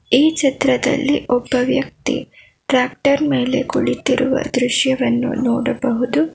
ಈ ಚಿತ್ರದಲ್ಲಿ ಒಬ್ಬ ವ್ಯಕ್ತಿ ಟ್ರ್ಯಾಕ್ಟರ್ ಮೇಲೆ ಕುಳಿತಿರುವ ದೃಶ್ಯವನ್ನು ನೋಡಬಹುದು.